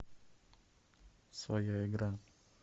своя игра